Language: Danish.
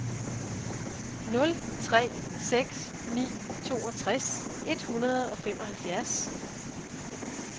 nul tre seks ni toogtres et hundrede og femoghalvfjerds